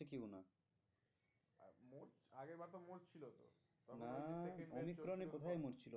তখন ওই না অমিক্রন এ কোথায় মরছিল?